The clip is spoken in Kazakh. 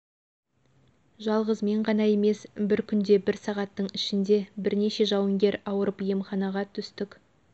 жалғыз мен ғана емес бір күнде бір сағаттың ішінде бірнеше жауынгер ауырып емханаға түстік